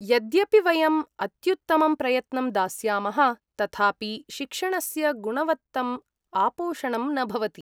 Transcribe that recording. यद्यपि वयम् अत्युत्तमं प्रयत्नं दास्यामः तथापि शिक्षणस्य गुणवत्तम् आपोषणं न भवति।